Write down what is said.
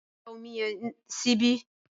dá Omi yen síbi!